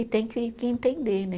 E tem que que entender, né?